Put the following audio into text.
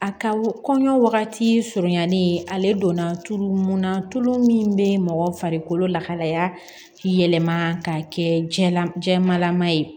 A ka kɔɲɔ wagati surunyali ale donna tulu mun na tulu min be mɔgɔ farikolo lahalaya yɛlɛma ka kɛ jɛnlajɛmalama ye